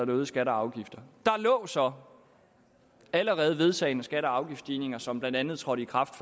øgede skatter og afgifter der lå så allerede vedtagne skatte og afgiftsstigninger som blandt andet trådte i kraft